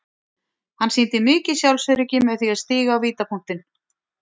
Hann sýndi mikið sjálfsöryggi með því að stíga á vítapunktinn.